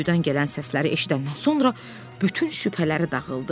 Quyudan gələn səsləri eşidəndən sonra bütün şübhələri dağıldı.